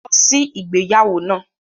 Lọ sí igbeyawo naa!